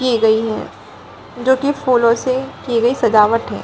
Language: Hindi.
की गई है जो की फूलों से की गई सजावट है ।